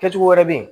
Kɛ cogo wɛrɛ bɛ ye